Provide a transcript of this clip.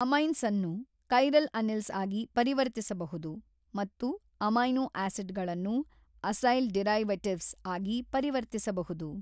ಅಮೈನ್ಸನ್ನು chiral anils ಆಗಿ ಪರಿವರ್ತಿಸಬಹುದು ಮತ್ತು ಅಮೈನೋ ಆಸಿಡ್ ಗಳನ್ನು ಅಸೈಲ್ ಡಿರೈವೆಟಿವ್ಸ್ ಆಗಿ ಪರಿವರ್ತಿಸಬಹುದು.